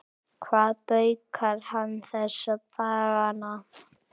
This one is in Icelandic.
Hvað baukar hann þessa dagana?